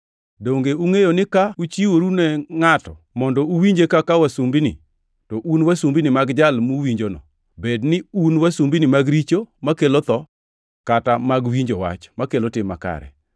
Donge ungʼeyo ni ka uchiworu ni ngʼato mondo uwinje kaka wasumbini to un wasumbini mag jal muwinjono, bed ni un wasumbini mag richo, makelo tho, kata mag winjo wach, makelo tim makare.